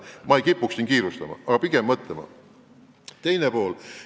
Ma ei kipuks siin kiirustama, pigem kutsun üles pikemalt mõtlema.